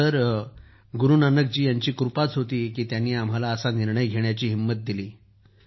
sir Guru Nanak बादशहा यांची कृपाच होती की त्यांनी आम्हाला असा निर्णय घेण्याची हिमत दिली